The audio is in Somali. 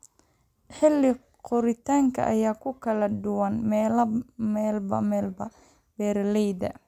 Xilli-koritaanka ayaa ku kala duwan meelba meel. Beeralayda